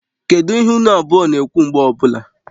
Kedu ihe unu abụọ na-ekwu mgbe ọwụla?